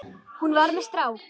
Hún var með strák!